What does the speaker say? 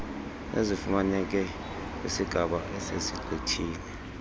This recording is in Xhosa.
ezifumaneke kwisigaba esesigqithile